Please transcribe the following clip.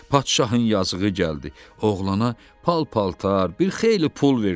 Padşahın yazığı gəldi, oğlana pal-paltar, bir xeyli pul verdi.